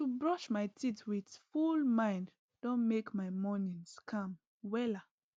to brush my teeth with full mind don make my mornings calm wella